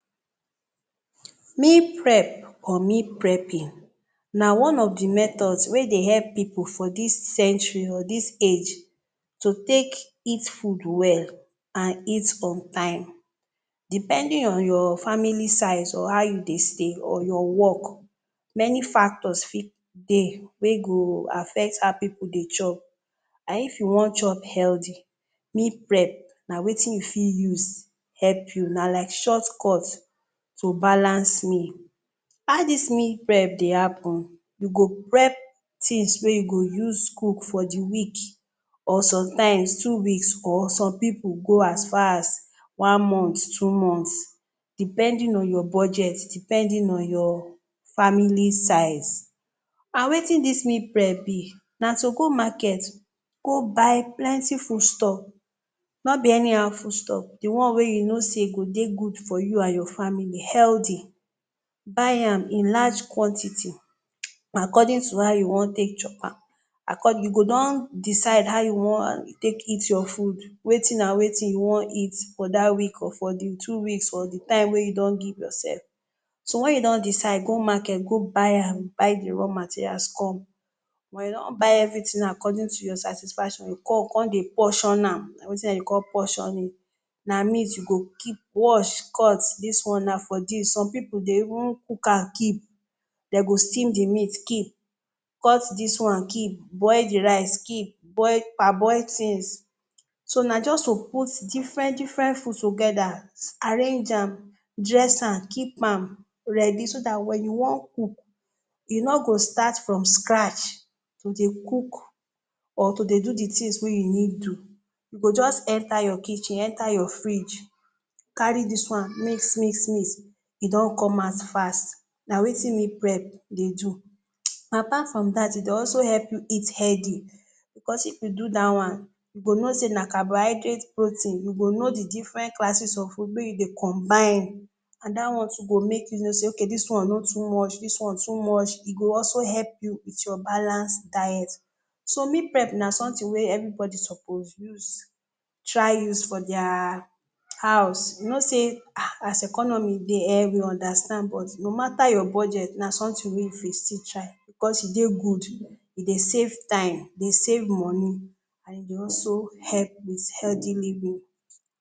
‘Meal Prep’ or ‘Meal Prepping’ na one of de methods wey dey help pipu for dis century or dis age to take eat food well and eat on time. Depending on your family size or how you dey stay or your work, many factors fit dey wey go affect how pipu dey chop. And if you wan chop healthy, meal prep na wetin you fit use help you, na like shortcut to balance meal. How dis meal prep dey happen? You go prep things wey you go use cook for de week or sometimes, two weeks or some pipu go as far as one month, two months, depending on your budget, depending on your family size. And wetin dis meal prep be? Na to go market go buy plenty foodstuff, no be anyhow foodstuff. De one wey you know sey go dey good for you and your family – healthy. Buy am in large quantity, according to how you wan take chop am. You go don decide how you wan take eat your food, wetin and wetin you wan eat for dat week or for de two weeks or de time wey you don give yourself. So when you don decide go market go buy am, buy de raw materials come, when you don buy everything according to your satisfaction, you go come come dey portion am - na wetin dem dey call portioning. Na meat, you go keep, wash, cut, dis one na for dis. Some pipu dey even cook am keep, dem go steam de meat keep, cut dis one keep, boil de rice keep, boil parboil things. So na just to put different-different food together, arrange am, dress am, keep am ready, so dat when you wan cook, you no go start from scratch to dey cook or to dey do de things wey need do. You go just enter your kitchen, enter your fridge, carry dis one mix-mix-mix, you don come out fast. Na wetin meal prep dey do. Apart from dat, e dey also help eat healthy. Because if you do dat one, you go know sey na carbohydrate, protein. You go know the different classes of food wey you dey combine and that one too go make you know sey okay ‘dis one no too much, dis one too much’. E go also help you eat your balance diet. So, meal prep na something wey everybody suppose use, try use for dia house. You know sey ah as economy dey, we understand, but no mata your budget, na something wey you go fit still try. Cos e dey good, e dey save time, e dey save money and e dey also help with healthy living.